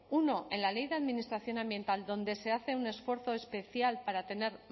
uno en la ley de administración ambiental donde se hace un esfuerzo especial para tener